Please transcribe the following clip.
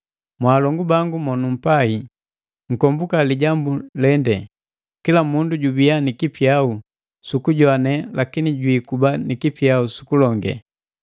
Mwaalongu bangu monumpai nkombuka lijambu lende: Kila mundu jubiya ni kipyau sukujoane lakini jwikuba ni kipyau su kulonge.